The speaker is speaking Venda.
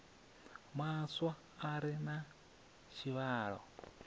maswa a re na tshivhalo